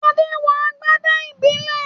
Adé wọ agbádá ìbílẹ̀